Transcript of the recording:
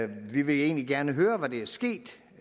vi vil egentlig gerne høre hvad der er sket